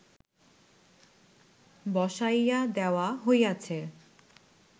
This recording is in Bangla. বসাইয়া দেওয়া হইয়াছে